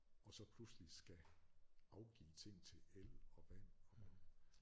Og så pludselig skal afgive ting til el og vand og